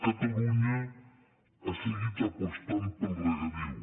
catalunya ha seguit apostant pel regadiu